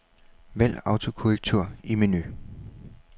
Vælg autokorrektur i menu.